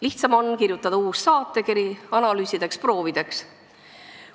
Lihtsam on kirjutada uus saatekiri analüüsideks-proovideks.